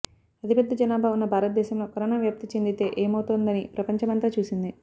అతి పెద్ద జనాభా ఉన్న భారతదేశంలో కరోనా వ్యాప్తి చెందితే ఏమవుతుందోనని ప్రపంచమంతా చూసింది